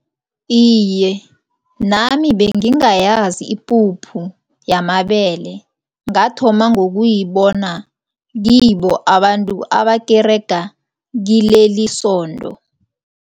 Iye, nami bengingayazi ipuphu yamabele, ngathoma ngokuyibona kibo abantu abakerega kilelisondo.